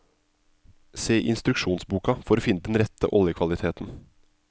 Se i instruksjonsboka for å finne den rette oljekvaliteten.